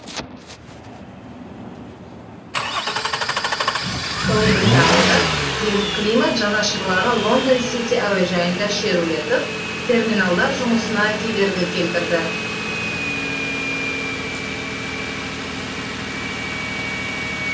ұлыбританияда климат жанашырлары лондон сити әуежайында шерулетіп терминалдар жұмысына кедергі келтірді